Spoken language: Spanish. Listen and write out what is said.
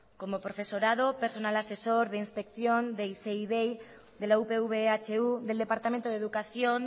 como profesorado personal asesor de inspección de de la upv ehu del departamento de educación